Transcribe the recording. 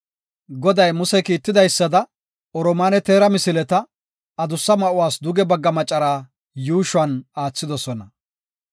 Goday Muse kiitidaysada, oromaane teera misileta, adussa ma7uwas duge bagga macaraa yuushuwan aathidosona.